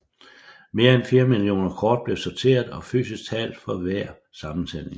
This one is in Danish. Mere end 4 millioner kort blev sorteret og fysisk talt for hver sammentælling